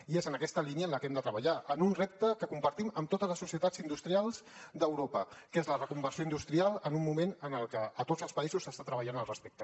i és en aquesta línia en la que hem de treballar en un repte que compartim amb totes les societats industrials d’europa que és la reconversió industrial en un moment en el que a tots els països s’està treballant al respecte